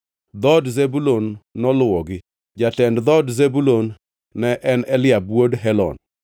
Dhood Zebulun noluwogi. Jatend dhood Zebulun ne en Eliab wuod Helon.